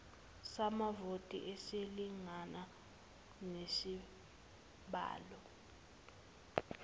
samavoti esilingana nesibalo